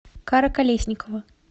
кара колесникова